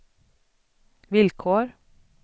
villkor